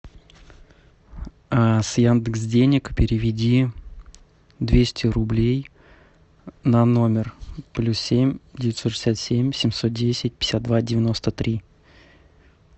с яндекс денег переведи двести рублей на номер плюс семь девятьсот шестьдесят семь семьсот десять пятьдесят два девяносто три